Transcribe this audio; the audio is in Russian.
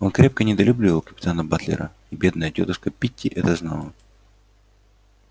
он крепко недолюбливал капитана батлера и бедная тётушка питти это знала